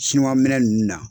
Sinuwa minɛn nun na.